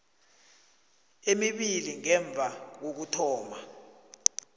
emibili ngemva kokuthoma